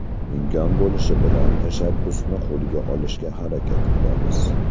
Imkon bo‘lishi bilan, tashabbusni qo‘lga olishga harakat qilamiz.